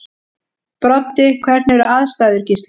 Broddi: Hvernig eru aðstæður Gísli?